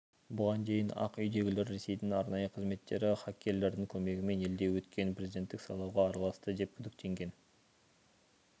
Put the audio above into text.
бұған дейін ақ үйдегілер ресейдің арнайы қызметтері хаккерлердің көмегімен елде өткен президенттік сайлауға араласты деп күдіктенген